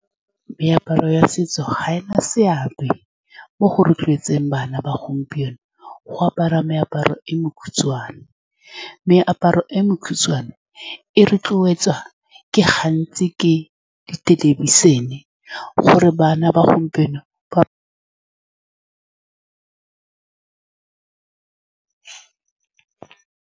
Meaparo ya setso ga e na seabe mo go rotloetseng bana ba gompieno go apara meaparo e mekhutshwane. Meaparo e mekhutshwane e rotloetswa gantsi ke di thelebišene gore bana ba gompieno ba.